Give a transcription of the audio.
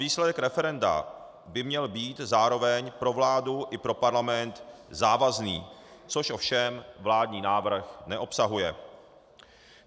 Výsledek referenda by měl být zároveň pro vládu i pro Parlament závazný, což ovšem vládní návrh neobsahuje.